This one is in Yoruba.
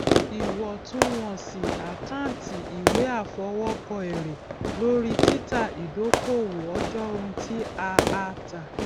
ìwọtúnwọsì àkántì ìwé àfọwókọ èrè lórí títa idokowó ọjọ ohun ti a a ta